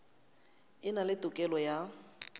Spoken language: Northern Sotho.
e na le tokelo ya